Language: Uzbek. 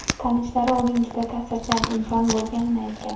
Tanishlari uning juda ta’sirchan inson bo‘lganini aytgan.